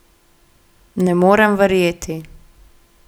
Ne morem verjeti.